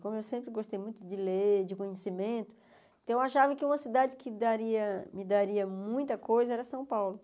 Como eu sempre gostei muito de ler, de conhecimento, então eu achava que uma cidade que daria que me daria muita coisa era São Paulo.